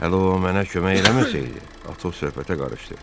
Hələ o mənə kömək eləməsəydi, Atos söhbətə qarışdı.